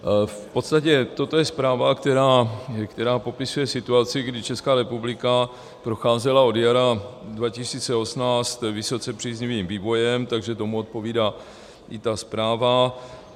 V podstatě toto je zpráva, která popisuje situaci, kdy Česká republika procházela od jara 2018 vysoce příznivým vývojem, takže tomu odpovídá i ta zpráva.